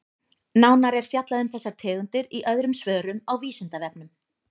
Nánar er fjallað um þessar tegundir í öðrum svörum á Vísindavefnum.